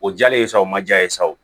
O diyalen ye sa o ma ja ye sa o